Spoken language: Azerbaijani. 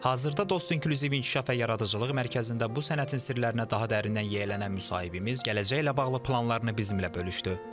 Hazırda dost inkluziv inkişaf və yaradıcılıq mərkəzində bu sənətin sirlərinə daha dərindən yiyələnən müsahibimiz gələcəklə bağlı planlarını bizimlə bölüşdü.